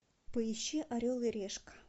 поищи орел и решка